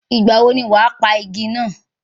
Ìgbà wo ni wàá pa igi náà?